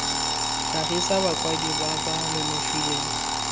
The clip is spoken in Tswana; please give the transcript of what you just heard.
tlhagisa bakwadi ba ba nonofileng